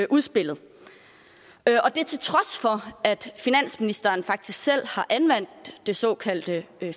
udspillet og det til trods for at finansministeren faktisk selv har anvendt det såkaldte